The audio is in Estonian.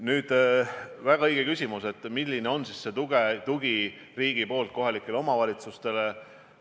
On väga õige küsimus, milline on riigi tugi kohalikele omavalitsustele?